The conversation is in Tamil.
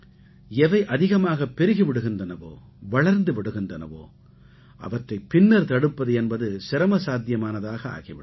எவை அதிகமாகப் பெருகி விடுகின்றனவோ வளர்ந்து விடுகின்றனவோ அவற்றைப் பின்னர் தடுப்பது என்பது சிரமசாத்தியமானதாக ஆகி விடும்